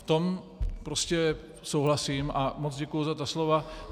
V tom prostě souhlasím a moc děkuji za ta slova.